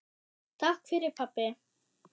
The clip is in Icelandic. Takk fyrir pabbi.